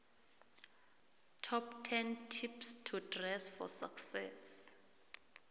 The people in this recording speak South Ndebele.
top ten tips to dress for success